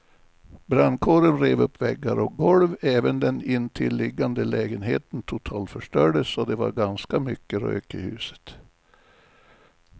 Brandkåren rev upp väggar och golv, även den intilliggande lägenheten totalförstördes och det var ganska mycket rök i huset.